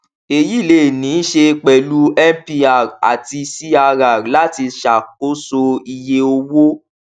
èyí lè ní í ṣe pẹlú mpr àti crr láti ṣàkóso iye owó